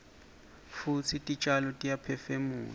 futsi titjalo tiyaphefumula